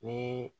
Ni